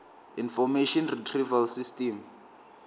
information retrieval system